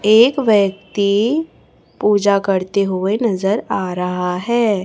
एक व्यक्ति पूजा करते हुआ नजर आ रहा है।